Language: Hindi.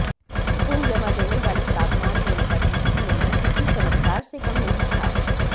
खून जमा देने वाले तापमान में उनका जीवित मिलना किसी चमत्कार से कम नहीं था